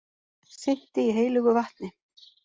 Synti í heilögu vatni